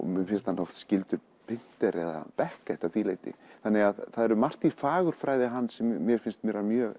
mér finnst hann oft skyldur Pinter eða Beckett að því leyti það er margt í fagurfræði hans sem mér finnst vera mjög